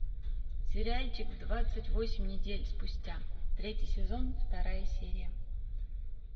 сериальчик двадцать восемь недель спустя третий сезон вторая серия